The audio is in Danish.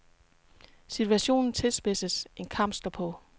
Situationen tilspidses, en kamp står på.